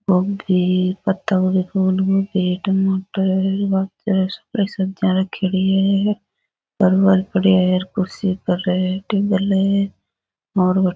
ओ भी पत्ता गोभी फूल गोभी टमाटर बाकी फ्रेश सब्जी रखेड़ी है --